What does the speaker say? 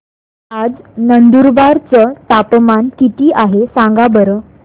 आज नंदुरबार चं तापमान किती आहे सांगा बरं